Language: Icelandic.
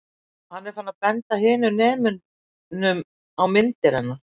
Og hann er farinn að benda hinum nemunum á myndir hennar.